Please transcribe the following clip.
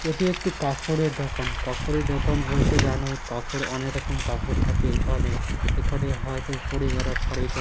এটি একটি কাপড়ের দোকান কাপড়ের দোকান বলতে জানোই কাপড় অনেক রকমের কাপড় থাকে এখানে। এখানে হয়ত পরে বেড়া শাড়িটা--